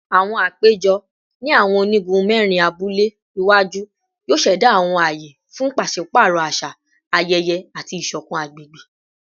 Awọn apejọ ni awọn onigun mẹrin abule iwaju yoo ṣẹda awọn aye fun paṣipaarọ aṣa, ayẹyẹ, ati iṣọkan agbegbe